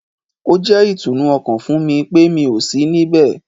Ó jẹ́ ìtùnú ọkàn fún mi pé mi ò sí ní ibẹ̀